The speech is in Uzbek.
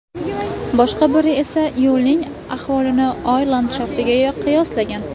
Boshqa biri esa yo‘lning ahvolini Oy landshaftiga qiyoslagan.